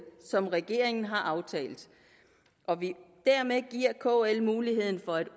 som regeringen har aftalt og dermed giver kl mulighed for at